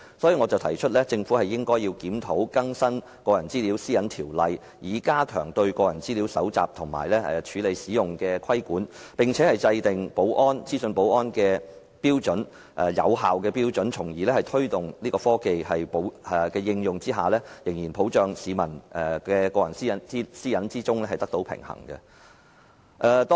因此，我提出政府應該檢討和更新《個人資料條例》，以加強對個人資料搜集、處理及使用的規管，並制訂資訊保安的有效標準，從而在推動科技應用的同時，仍能保障市民的個人私隱，令兩者得到平衡。